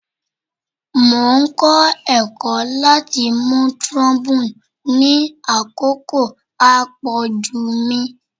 Mo n kọ ẹkọ lati mu trombone ni akoko apoju mi